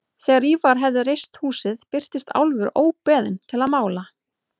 Þegar Ívar hafði reist húsið birtist Álfur óbeðinn til að mála.